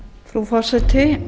frú forseti